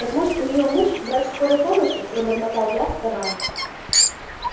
так может у неё муж врач скорой помощи пробормотал я вставая